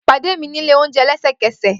Pade mi ni ile ounjẹ lẹsẹkẹsẹ!